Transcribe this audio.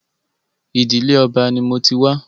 Ìdílé Ọba ni mo ti wá.